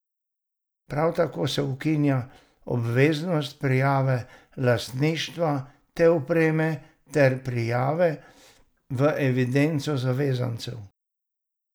Prav tako se ukinja obveznost prijave lastništva te opreme ter prijave v evidenco zavezancev.